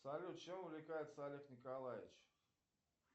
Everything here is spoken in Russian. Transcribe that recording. салют чем увлекается олег николаевич